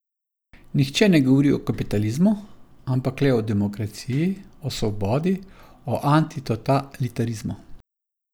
Nihče ne govori o kapitalizmu, ampak le o demokraciji, o svobodi, o antitotalitarizmu.